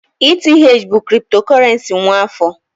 ETH bụ kriptokurrency nwa afọ